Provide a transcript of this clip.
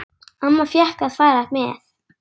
Amma fékk að fara með.